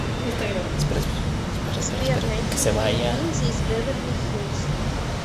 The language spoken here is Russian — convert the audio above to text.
сбер найти фильм ниндзя из беверли хиллз